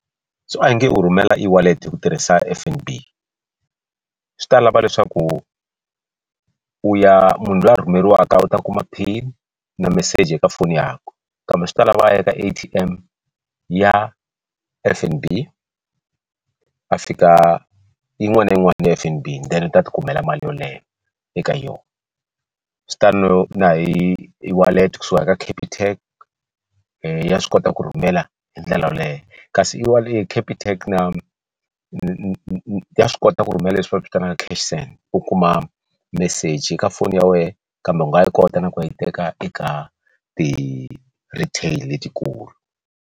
So a hi nge u rhumela ewallet hi ku tirhisa F_N_B swi ta lava leswaku u ya munhu luya rhumeriwaka u ta kuma pin na meseji eka foni yakwe kambe swi ta lava a ya ka a_t_m ya F_N_B a fika yin'wana na yin'wana ya F_N_B then a ti tikumela mali yoleyo eka yona swi tano na hi hi wallet kusuka ka Capitec ya swi kota ku rhumela hi ndlela yoleyo kasi se i Capitec na na swi kota ku rhumela leswi va swi vitanaka cash send u kuma meseji eka foni ya wena kambe u nga yi kota na ku ya yi teka eka ti retail letikulu.